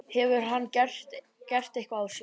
Hefur hann gert eitthvað af sér?